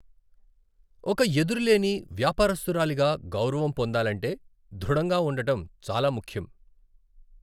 ఒక ఎదురులేని వ్యాపారస్తురాలిగా గౌరవం పొందాలంటే, దృఢంగా ఉండటం చాలా ముఖ్యం.